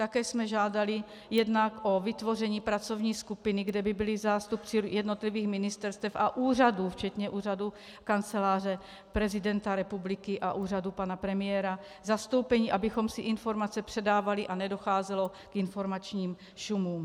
Také jsem žádali jednak o vytvoření pracovní skupiny, kde by byli zástupci jednotlivých ministerstev a úřadů včetně úřadu Kanceláře prezidenta republiky a úřadu pana premiéra zastoupeni, abychom si informace předávali a nedocházelo k informačním šumům.